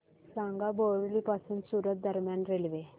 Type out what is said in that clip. सांगा बोरिवली पासून सूरत दरम्यान रेल्वे